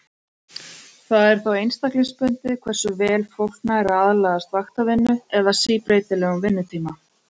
Það er þó einstaklingsbundið hversu vel fólk nær að aðlagast vaktavinnu eða síbreytilegum vinnutíma.